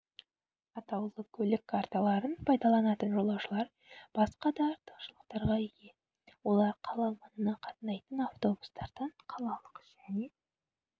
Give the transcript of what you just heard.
атаулы көлік карталарын пайдаланатын жолаушылар басқа да артықшылықтарға ие олар қала маңына қатынайтын автобустардан қалалық және